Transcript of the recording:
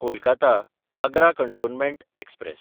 कोलकाता–आग्रा cantonment express